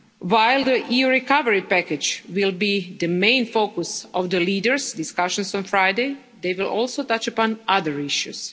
While the EU recovery package will be the main focus of the leaders' discussions on Friday, they will also touch upon other issues.